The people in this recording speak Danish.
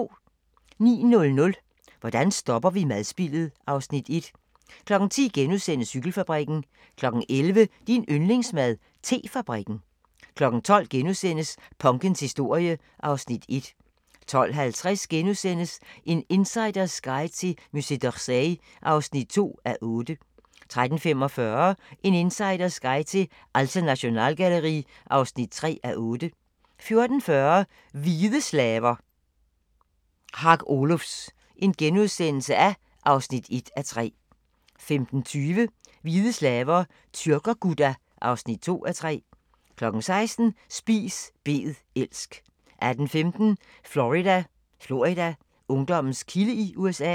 09:00: Hvordan stopper vi madspildet? (Afs. 1) 10:00: Cykelfabrikken * 11:00: Din yndlingsmad: Te-fabrikken 12:00: Punkens historie (Afs. 1)* 12:50: En insiders guide til Musée d'Orsay (2:8)* 13:45: En insiders guide til Alte Nationalgalerie (3:8) 14:40: Hvide slaver – Hark Olufs (1:3)* 15:20: Hvide slaver – Tyrker-Gudda (2:3) 16:00: Spis bed elsk 18:15: Florida: Ungdommens kilde i USA